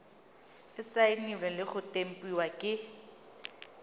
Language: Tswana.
saenilwe le go tempiwa ke